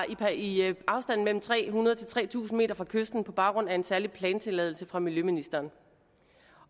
i afstanden mellem tre hundrede m og tre tusind m fra kysten på baggrund af en særlig plantilladelse fra miljøministeren